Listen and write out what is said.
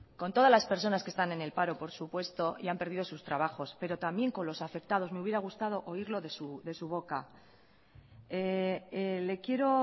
con todas las personas que están en el paro por supuesto y han perdido sus trabajos pero también con los afectados me hubiera gustado oírlo de su boca le quiero